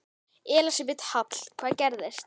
Elísabet Hall: Hvað gerðist?